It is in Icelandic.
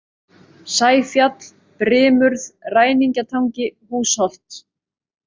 Sæfjall, Brimurð, Ræningjatangi, Húsholt